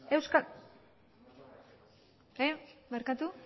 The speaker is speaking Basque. barkatu